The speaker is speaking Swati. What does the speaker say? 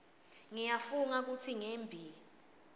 ngiyafunga kutsi ngembi